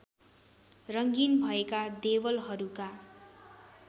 रङ्गिन भएका देवलहरूका